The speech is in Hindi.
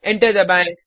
एंटर दबाएँ